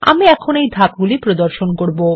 আমি এখন এই ধাপগুলি প্রদর্শন করব